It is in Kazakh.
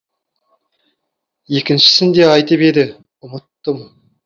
екіншісін де айтып еді ұмыттым